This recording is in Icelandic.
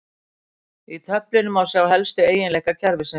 Í töflunni má sjá helstu eiginleika kerfisins.